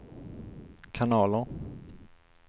kanaler